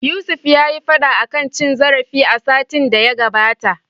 Yusuf yayi fada akan cin zarafi a satin da ya gabata.